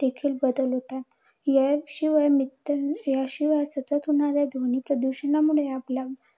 देखील बदल होतात. याशिवाय मित्त याशिवाय सतत होणाऱ्या ध्वनी प्रदूषणामुळे आपला